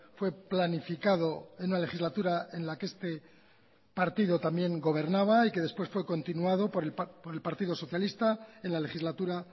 fue planificado en una legislatura en la que este partido también gobernaba y que después fue continuado por el partido socialista en la legislatura